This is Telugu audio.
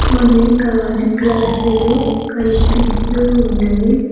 కొన్ని గాజు గ్లాసులు కనిపిస్తూ ఉన్నవి.